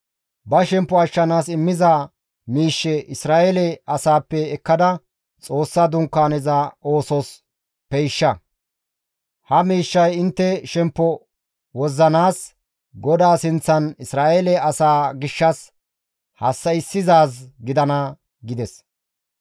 Ba shemppo ashshanaas immiza miishshe Isra7eele asaappe ekkada Xoossa Dunkaaneza oosos peyshsha. Ha miishshay intte shemppo wozzanaas, GODAA sinththan Isra7eele asaa gishshas hassa7issizaaz gidana» gides.